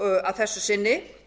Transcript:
að þessu sinni